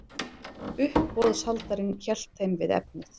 Uppboðshaldarinn hélt þeim við efnið.